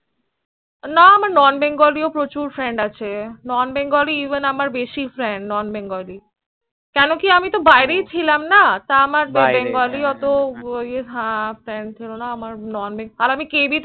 না আমার Non Bengali ও প্রচুর Friend আছে Non Bengali Even বেশি Friend কেন কি বাইরে ছিলাম না তা আমার Bengali ওতো time ছিল না আমার আর আমি কেবি